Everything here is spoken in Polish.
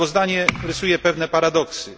Sprawozdanie rysuje pewne paradoksy.